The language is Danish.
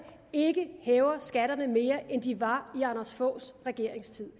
ikke hæver skatterne til mere end de var i anders foghs regerings tid